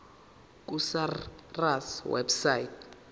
ku sars website